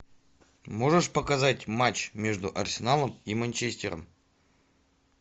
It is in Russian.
можешь показать матч между арсеналом и манчестером